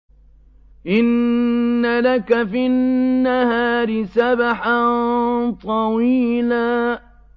إِنَّ لَكَ فِي النَّهَارِ سَبْحًا طَوِيلًا